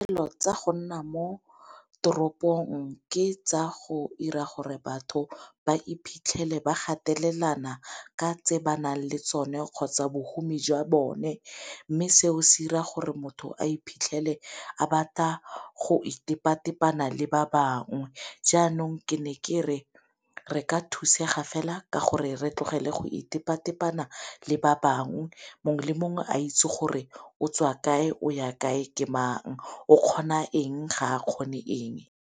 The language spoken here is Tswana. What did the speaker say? Dilo tsa go nna mo toropong ke tsa go 'ira gore batho ba iphitlhele ba gatelelang ka tse ba nang le tsone kgotsa bohumi jwa bone, mme seo se 'ira gore motho a iphitlhele a batla go itepa-tepanya le ba bangwe. Jaanong ke ne kere re ka thusega fela ka gore re tlogele go itepa-tepana le ba bangwe mongwe le mongwe a itse gore o tswa kae o ya kae ke mang, o kgona eng ga a kgone eng.